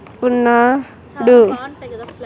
ఉన్నా-- --డు.